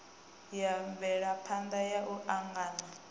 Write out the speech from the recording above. ya mvelaphana ya u angana